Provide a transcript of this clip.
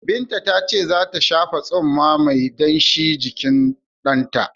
Binta ta ce zai shafa tsumma mai danshi jikin ɗanta.